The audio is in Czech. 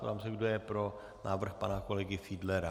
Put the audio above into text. Ptám se, kdo je pro návrh pana kolegy Fiedlera.